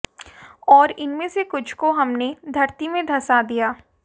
और उनमें से कुछ को हमने धरती में धँसा दिया